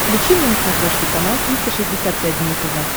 включи мне на смотрешке канал триста шестьдесят пять дней тв